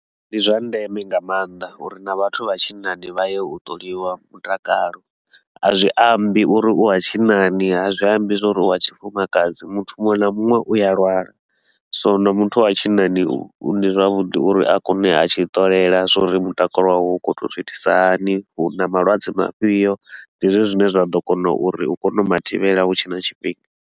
Ndi zwa ndeme nga maanḓa uri na vhathu vha tshinnani vha ye u ṱoliwa mutakalo, a zwi ambi uri u wa tshinnani, a zwi ambi zwa uri u wa tshifumakadzi. Muthu muṅwe na muṅwe u a lwala, so na muthu wa tshinnani u ndi zwavhuḓi uri a kone u ya atshi ṱolela zwa uri mutakalo wawe u khou to u zwiitisa hani, hu na malwadze mafhio. Ndi hezwo zwine zwa ḓo kona uri u kone u ma thivhela hu tshe na tshifhinga.